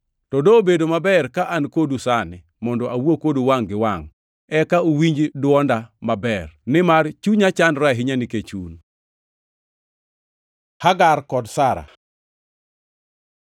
To dobedo maber ka an kodu sani mondo awuo kodu wangʼ gi wangʼ eka uwinj dwonda maber, nimar chunya chandore ahinya nikech un. Hagar kod Sara